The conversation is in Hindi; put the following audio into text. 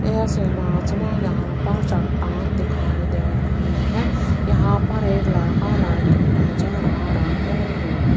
इस इमेज में यहां पर चट्टान दिखाई दे रही है यहां पर एक लड़का लड़की नजर आ रहे हैं।